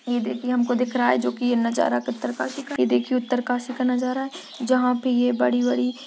ये देखिए हमको दिख रहा है जो की ये नजारा कत्तरकाशी का ये देखिए उत्तरकाशी का नज़ारा है जहां पे ये बड़ी बड़ी --